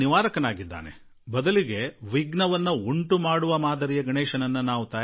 ಹೀಗಿರುವಾಗ ವಿಘ್ನ ಉಂಟು ಮಾಡುವ ಗಣೇಶನನ್ನು ನಾವು ಮಾಡಬಾರದು